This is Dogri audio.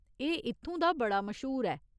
एह् इत्थूं दा बड़ा मश्हूर ऐ।